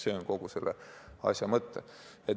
See on kogu selle asja mõte.